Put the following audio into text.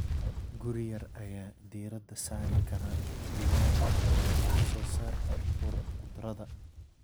Guri yar ayaa diiradda saari kara digaaga ama wax soo saarka khudradda.